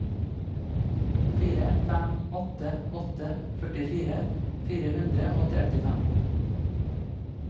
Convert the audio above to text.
fire fem åtte åtte førtifire fire hundre og trettifem